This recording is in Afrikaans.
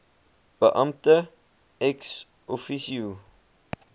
beampte ex officio